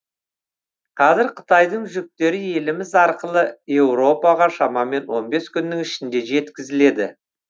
қазір қытайдың жүктері еліміз арқылы еуропаға шамамен он бес күннің ішінде жеткізіледі